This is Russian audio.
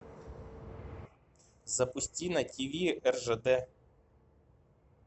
запусти на тв ржд